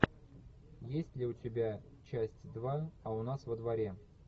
есть ли у тебя часть два а у нас во дворе